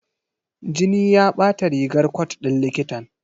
Jini ya bata rigar cot ɗin likitan.